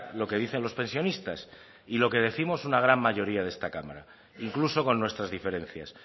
lo que dicen los pensionistas y lo que décimos una gran mayoría de esta cámara incluso con nuestras diferencias